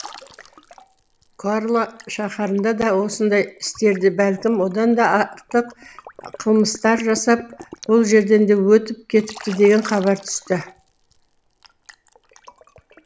корла шаһарында да осындай істерді бәлкім одан да артық қылмыстар жасап бұл жерден де өтіп кетіпті деген хабар түсті